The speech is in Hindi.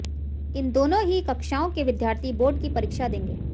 इन दोनों ही कक्षाओं के विद्यार्थी बोर्ड की परीक्षा देंगे